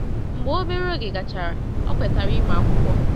Mgbe obere oge gachara, ọ kwetara ịmụ akwụkwọ.